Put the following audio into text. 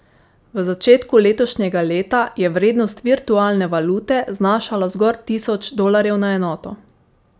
V začetku letošnjega leta je vrednost virtualne valute znašala zgolj tisoč dolarjev na enoto.